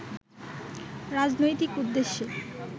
রাজনৈতিক উদ্দেশ্যে